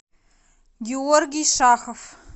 георгий шахов